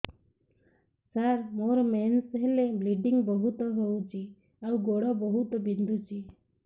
ସାର ମୋର ମେନ୍ସେସ ହେଲେ ବ୍ଲିଡ଼ିଙ୍ଗ ବହୁତ ହଉଚି ଆଉ ଗୋଡ ବହୁତ ବିନ୍ଧୁଚି